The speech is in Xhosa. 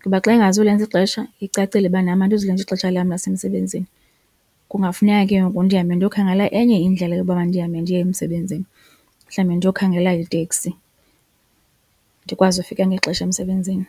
ngoba xa ingazulenza ixesha icacile uba nam andizulenza ixesha lam lasemsebenzini. Kungafuneka ke ngoku ndihambe ndiyokhangela enye indlela yokuba ndihambe ndiye emsebenzini mhlawumbi ndiyokhangela iteksi ndikwazi ukufika ngexesha emsebenzini.